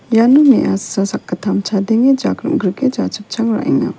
ian me·asa sakgittam chadenge jak rim·grike ja·chipchang ra·enga.